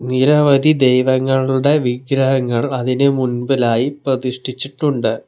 നിരവധി ദൈവങ്ങളുടെ വിഗ്രഹങ്ങൾ അതിന് മുൻപിലായി പ്രതിഷ്ഠിച്ചിട്ടുണ്ട്.